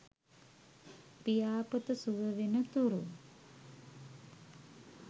පියාපත සුව වෙන තුරු